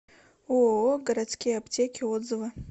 ооо городские аптеки отзывы